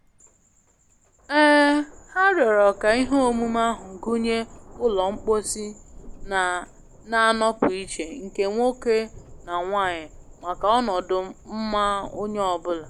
um Ha rịọrọ ka ihe omume ahụ gụnye ụlọ mposi na-anọpụ iche nke nwoke na nwanyị maka ọnọdu mma onye ọ bụla.